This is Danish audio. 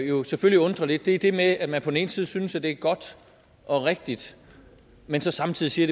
jo selvfølgelig undrer lidt er det med at man på den ene side synes at det er godt og rigtigt men så samtidig siger